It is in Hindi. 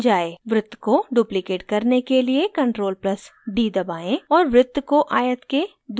वृत्त को duplicate करने के लिए ctrl + d दबाएं और वृत्त को आयत के दूसरे छोर पर लाएं